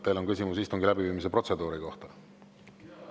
Teil on küsimus istungi läbiviimise protseduuri kohta?